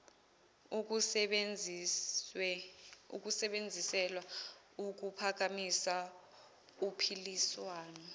ukusebenzisela ukuphakamisa uphiliswano